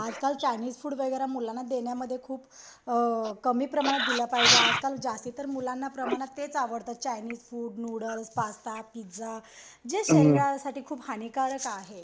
आजकाल Chinese food वगैर मुलांना देण्यामध्ये खूप अ कमी प्रमाणात दिल पाहिजे आजकाल तर मुलांना जास्त प्रमाणात तेच आवडत Chinese food noodles pasta pizza जे शरीरासाठी खूप हानिकारक आहे